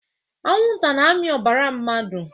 Anwụnta na amị ọbara mmadụ